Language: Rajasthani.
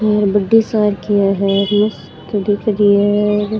ये बड़ी सार की है कड़ी करी है।